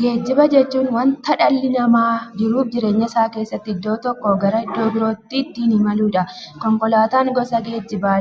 Geejjiba jechuun wanta dhalli namaa jiruuf jireenya isaa keessatti iddoo tokkoo gara iddoo birootti ittiin imaluudha. Konkolaatan gosa geejjibaa